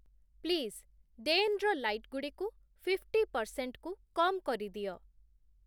please ଡେନ୍‌ର ଲାଇଟ୍‌ଗୁଡ଼ିକୁ fifty ପର୍‌ସେଣ୍ଟ୍‌କୁ କମ୍‌ କରିଦିଅ